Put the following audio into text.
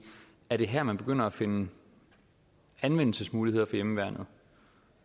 er det her man begynder at finde anvendelsesmuligheder for hjemmeværnet